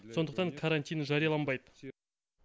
сондықтан карантин жарияланбайды